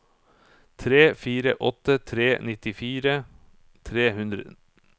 tre fire åtte tre nittifire tre hundre